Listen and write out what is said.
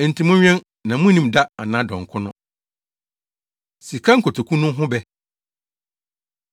“Enti monwɛn na munnim da anaa dɔn ko no. Sika Nkotoku No Ho Bɛ